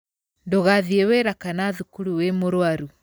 Ndũgathiĩ wĩra kana thukuru wĩ mũrwaru.